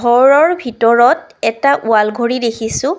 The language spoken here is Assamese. ঘৰৰ ভিতৰত এটা ৱাল্ ঘড়ী দেখিছোঁ।